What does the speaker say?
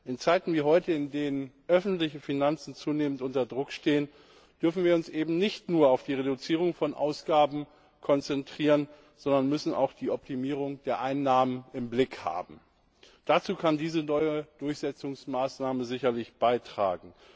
In Zeiten wie heute, in denen öffentliche Finanzen zunehmend unter Druck stehen, dürfen wir uns eben nicht nur auf die Reduzierung von Ausgaben konzentrieren, sondern müssen auch die Optimierung der Einnahmen im Blick haben. Dazu kann diese neue Durchsetzungsmaßnahme sicherlich beitragen.